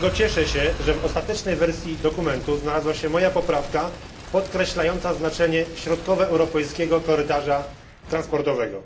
Dlatego cieszę się, że w ostatecznej wersji dokumentu znalazła się moja poprawka podkreślająca znaczenie środkowoeuropejskiego korytarza transportowego.